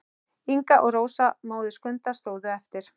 Inga og Rósa, móðir Skunda, stóðu eftir.